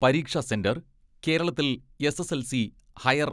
പരീക്ഷ സെന്റർ, കേരളത്തിൽ SSLC, higher